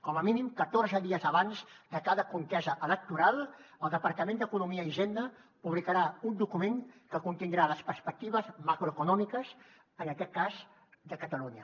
com a mínim catorze dies abans de cada contesa electoral el departament d’economia i hisenda publicarà un document que contindrà les perspectives macroeconòmiques en aquest cas de catalunya